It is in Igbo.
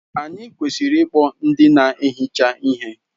Anyị kwesịrị ịkpọ ndị na-ehicha ihe.